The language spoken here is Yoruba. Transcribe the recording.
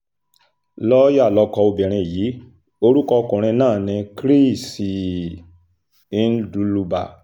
lọ́ọ̀yà lọkọ obìnrin yìí orúkọ ọkùnrin náà ni chris um ndluba